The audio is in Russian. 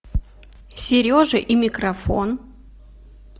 сережа и микрофон